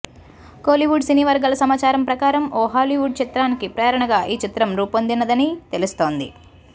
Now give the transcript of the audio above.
కోలీవుడ్ సినీ వర్గాల సమాచారం ప్రకారం ఓ హాలీవుడ్ చిత్రానికి ప్రేరణగా ఈ చిత్రం రూపొందినదని తెలుస్తోంది